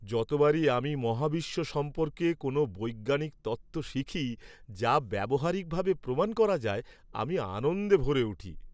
যতবারই আমি মহাবিশ্ব সম্পর্কে কোনো বৈজ্ঞানিক তত্ত্ব শিখি যা ব্যবহারিকভাবে প্রমাণ করা যায়, আমি আনন্দে ভরে উঠি।